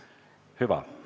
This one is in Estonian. Hüva.